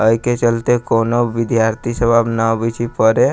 ए के चलते कुनो विद्यार्थी सब अब ने आबे छै पढ़े --